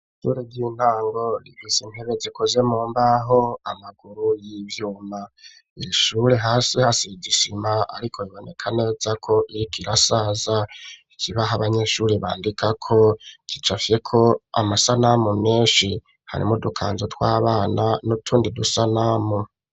Ishure ry'intango rifise intebe gikoze mumbaho amaguru y'ivyuma, iri shure hasi hasizi isima ariko iboneka neza ko irikirasaza ikibaho abanyeshuri bandika ko gicafye ko amasanamu menshi hari mu udukanzu tw'abana n'utundi dusanamu.